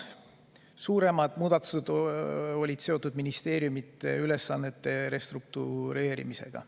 Suuremad muudatused olid seotud ministeeriumide ülesannete restruktureerimisega.